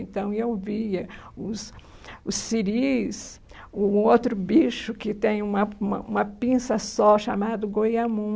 Então, eu via os os siris, o um outro bicho que tem uma uma uma pinça só, chamado goiamum.